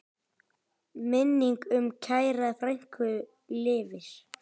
Minning um kæra frænku lifir.